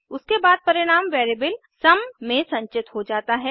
उसके बाद परिणाम वेरिएबल सम में संचित हो जाता है